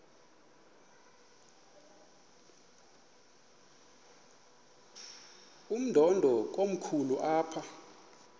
umdudo komkhulu apha